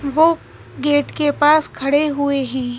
वो गेट के पास खड़े हुए हैं।